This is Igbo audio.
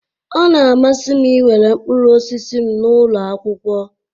Ọ na-amasị m iwere mkpụrụ osisi m n'ụlọ akwụkwọ